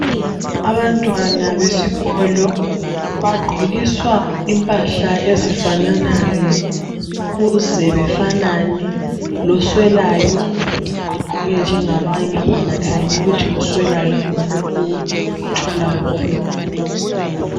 Abantwana besikolo bagqokiswa impahla ezifananayo ukuze befanane loswelayo agqoke njengabanye kungakhanyi ukuthi oswelayo ngulowu otholayo ngulowu